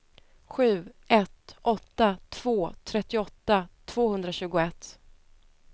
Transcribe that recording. sju ett åtta två trettioåtta tvåhundratjugoett